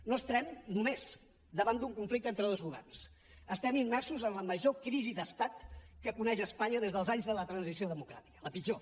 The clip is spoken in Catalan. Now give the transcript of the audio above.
no estem només davant d’un conflicte entre dos governs estem immersos en la major crisi d’estat que coneix espanya des dels anys de la transició democràtica la pitjor